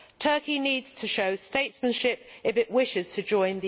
Turkey needs to show statesmanship if it wishes to join the EU.